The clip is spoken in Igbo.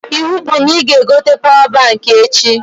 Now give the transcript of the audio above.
Iwu bụ na ị ga-egote pawa baikị echi!